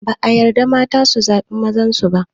Da ba a yarda mata su zaɓi mazan su.